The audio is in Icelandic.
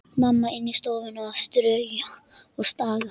Mamma inni í stofu að strauja og staga.